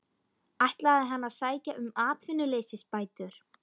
Ætlaði hann að sækja um atvinnuleysisbætur?